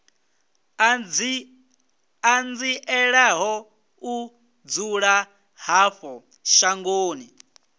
ṱanzielaho u dzula havho mashangoni